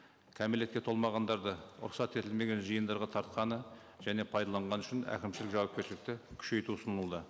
кәмелетке толмағандарды рұқсат етілмеген жиындарға тартқаны және пайдаланғаны үшін әкімшілік жауапкершілікті күшейту ұсынылды